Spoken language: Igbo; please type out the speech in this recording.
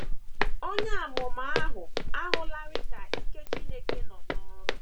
Onye amụma ahụ ahụlarị ka ike Chineke nọ n’ọrụ.